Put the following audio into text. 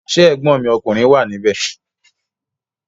Ṣé ẹ̀gbọ́n mi ọkùnrin wà ní ibẹ̀?